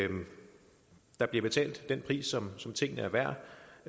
der bliver betalt den pris som tingene er værd